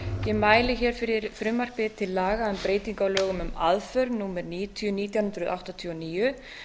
ég mæli hér fyrir frumvarpi til laga um breytingu á lögum um aðför númer níutíu nítján hundruð áttatíu og níu